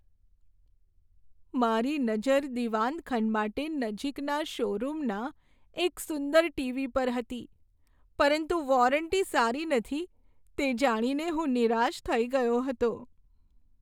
મારી નજર દીવાન ખંડ માટે નજીકના શોરૂમના એક સુંદર ટીવી પર હતી પરંતુ વોરંટી સારી નથી તે જાણીને હું નિરાશ થઈ ગયો હતો.